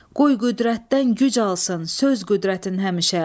Qoy qüdrətdən güc alsın söz qüdrətin həmişə.